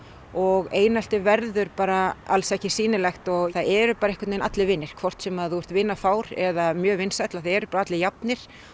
og einelti verður bara alls ekki sýnilegt það eru bara einhvern veginn allir vinir hvort sem þú ert vinafár eða mjög vinsæll að þá eru bara allir jafnir